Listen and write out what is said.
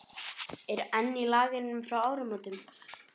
Er enn í Lagernum frá áramótunum?